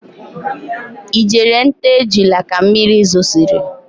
Ị jere nta ejula ka mmiri zosiri?